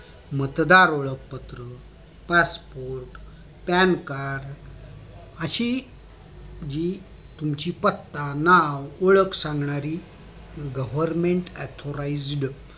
मतदार ओळख पत्र passportpan card अशी जी तुमची पत्ता नाव सांगणारे government authorised